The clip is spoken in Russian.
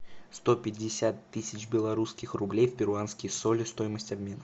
сто пятьдесят тысяч белорусских рублей в перуанские соли стоимость обмена